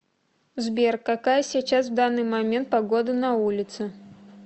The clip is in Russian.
сбер какая сейчас в данный момент погода на улице